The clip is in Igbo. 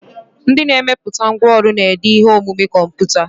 Ndị na-emepụta ngwanrọ na-ede ihe omume kọmputa.